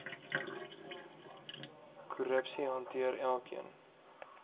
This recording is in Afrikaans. korrupsie hanteer elkeen